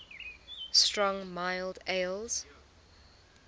strong mild ales